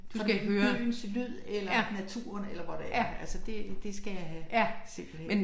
For byens lyd eller naturen eller hvor det er altså det det skal jeg have simpelthen